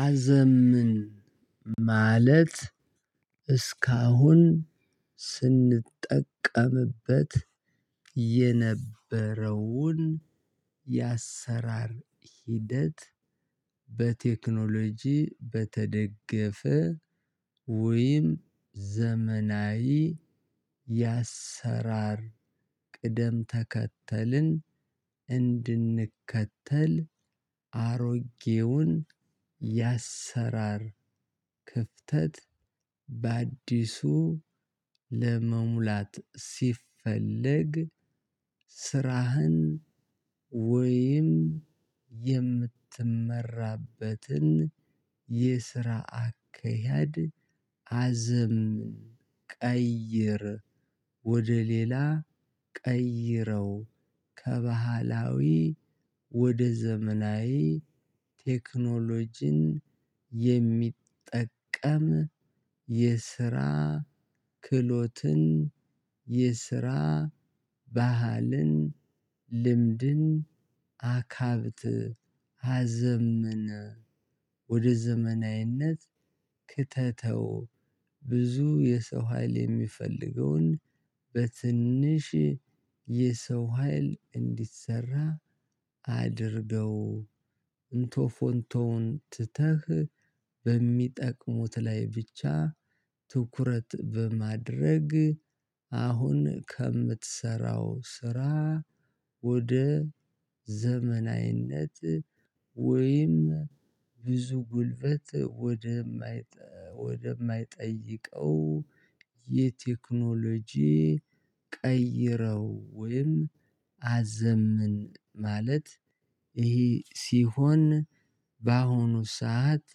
አዘምን ማለት እስካሁን ስንጠቀምበት የነበረውን የአሰራር ሂደት በቴክኖሎጂ በተደገፈ ወይም ዘመናዊ የአሰራር ቅደም ተከተልን እንድንከተል አሮጌውን የአሰራር ክፍተት በአዲሱ ለመሙላት ሲፈልግ ስራህን ወይም የምትመራበትን የስራ አካሄድ አዘምን ቀይር ወደ ሌላ ቀይረው ከባህላዊ ወደ ዘመናዊ ቴክኖሎጂን የሚጠቀም የስራ ክሎትን የስራ ባህልን ልምድን አካብት አዘምነ ወደ ዘመናዊነት ክተተው ብዙ የሰው ሀይል የሚፈልገውን በትንሽ የሰው ሀይል እንዲሰራ አድርገው እንቶ ፎንቶውን ትተህ በሚጠቅሙት ላይ ብቻ ትኩረት በማድረግ አሁን ከምትሰራው ስራ ወደ ዘመናዊነት ወይም ብዙ ጉልበት ወደማይ ወደማይጠይቀው የቴክኖሎጂ ቀይረው ወይም አዘምን ማለት ይሄ ሲሆን በአሁኑ ሰዓት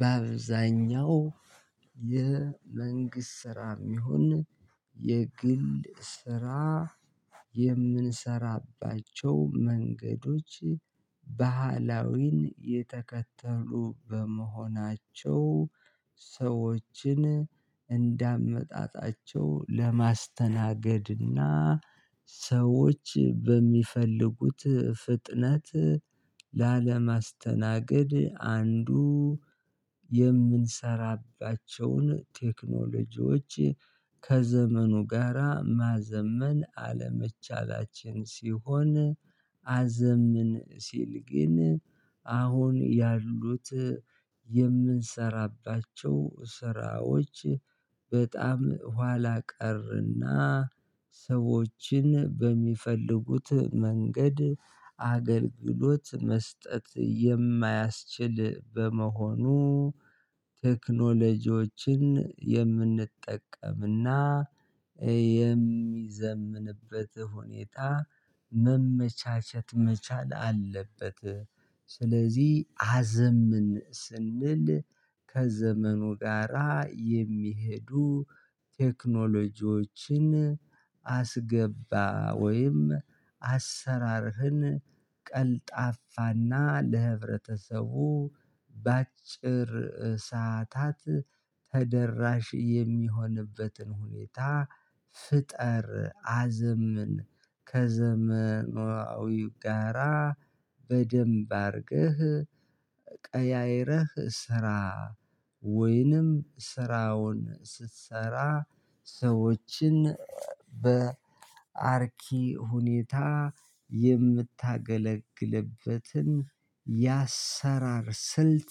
በአብዛኛው የመንግስት ስራ የሚሆን የግል ስራ የምንሰራባቸው መንገዶች ባህላዊን የተከተሉ በመሆናቸው ሰዎችን እንዳመጣጣቸው ለማስተናገድና ሰዎች በሚፈልጉት ፍጥነት ላለማስተናገድ አንዱ የምንሰራባቸውን ቴክኖሎጂዎች ከዘመኑ ጋራ ማዘመን አለመቻላችን ሲሆን አዘምን ሲል ግን አሁን ያሉት የምንሰራባቸው ስራዎች በጣም ኋላ ቀር እና ሰዎችን በሚፈልጉት መንገድ አገልግሎት መስጠት የማያስችል በመሆኑ ቴክኖሎጂዎችን የምንጠቀምና የሚዘምንበት ሁኔታ መመቻቸት መቻል አለበት ስለዚህ አዘምን ስንል ከዘመኑ ጋራ የሚሄዱ ቴክኖሎጂዎችን አስገባ ወይም አሰራርህን ቀልጣፋና ለህብረተሰቡ በአጭር ሰዓታት ተደራሽ የሚሆንበትን ሁኔታ ፍጠር አዘምን ከዘመናዊ ጋራ በደንብ አድርገህ ቀያይረህ ስራ ወይንም ስራውን ስትሰራ ሰዎችን በአርኪ ሁኔታ የምታገለግልበትን የአየሠራር ስልት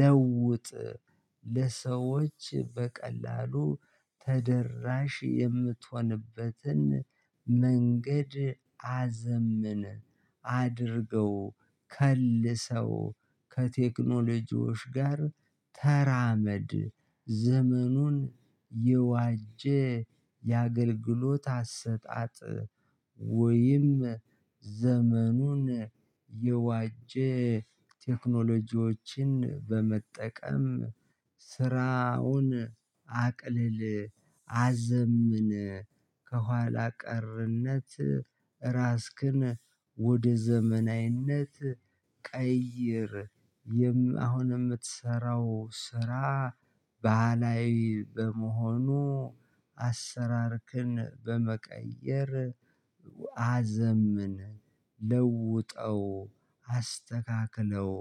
ለውጥ ለሰዎች በቀላሉ ተደራሽ የምትሆንበትን መንገድ አዘምን አድርገው ከልሰው ከቴክኖሎጂዎች ጋር ተራመድ ዘመኑን የዋጀ የአገልግሎት አሰጣጥ ወይም ዘመኑን የዋጀ ቴክኖሎጂዎችን በመጠቀም ስራውን አቅልል አዘምን ከኋላ ቀርነት ራስክን ወደ ዘመናዊነት ቀይር አሁን የምትሠራው ስራ ባህላዊ በመሆኑ አሠራርክን በመቀየር አዘምን ለውጠው አስተካክለው